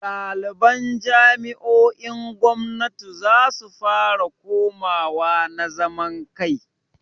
Ɗaliban jami'o'in gwamnati zasu fara komawa na zaman kai.